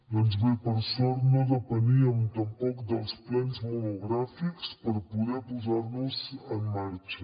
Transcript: doncs bé per sort no depeníem tampoc dels plens monogràfics per poder posar nos en marxa